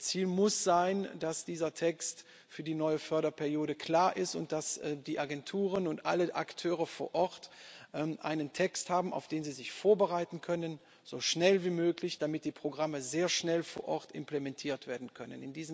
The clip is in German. Ziel muss sein, dass dieser Text für die neue Förderperiode klar ist und dass die Agenturen und alle Akteure vor Ort einen Text haben, auf den sie sich so schnell wie möglich vorbereiten können, damit die Programme sehr schnell vor Ort implementiert werden können.